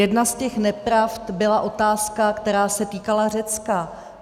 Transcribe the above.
Jedna z těch nepravd byla otázka, která se týkala Řecka.